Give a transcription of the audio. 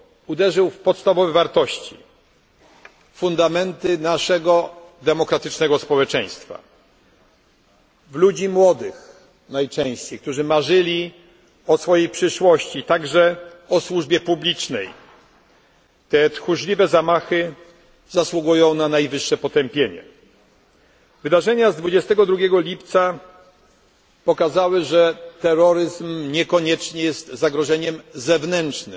i z Oslo uderzył w podstawowe wartości fundamenty naszego demokratycznego społeczeństwa, w ludzi najczęściej młodych, którzy marzyli o swojej przyszłości, także o służbie publicznej. Te tchórzliwe zamachy zasługują na najwyższe potępienie. Wydarzenia z 22 lipca pokazały, że terroryzm niekoniecznie jest zagrożeniem